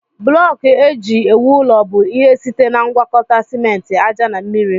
Blọku eji ewu ụlọ bụ ihe site na ngwakọta simenti, aja na mmiri.